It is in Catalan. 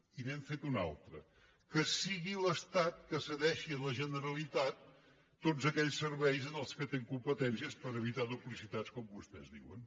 i n’hem fet una altra que sigui l’estat qui cedeixi a la generalitat tots aquells serveis en els quals té competències per evitar duplicitats com vostès diuen